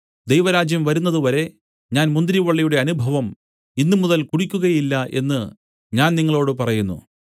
ദൈവരാജ്യം വരുന്നത് വരെ ഞാൻ മുന്തിരിവള്ളിയുടെ അനുഭവം ഇന്നുമുതൽ കുടിക്കുകയില്ല എന്നു ഞാൻ നിങ്ങളോടു പറയുന്നു